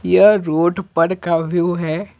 यह रोड पर का व्यू है।